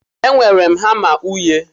Enwere m hama uhie.